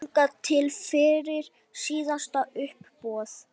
Þangað til fyrir síðasta uppboð.